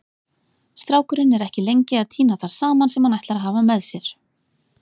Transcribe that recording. Strákurinn er ekki lengi að tína það saman sem hann ætlar að hafa með sér.